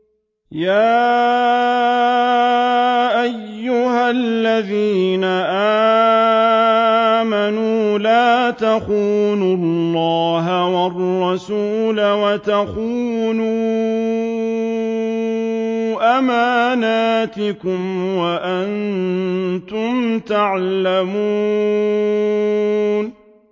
يَا أَيُّهَا الَّذِينَ آمَنُوا لَا تَخُونُوا اللَّهَ وَالرَّسُولَ وَتَخُونُوا أَمَانَاتِكُمْ وَأَنتُمْ تَعْلَمُونَ